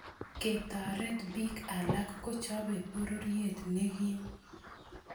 Ketaret bik alak kochopei bororiet ne kim